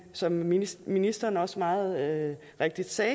som ministeren ministeren også meget rigtigt sagde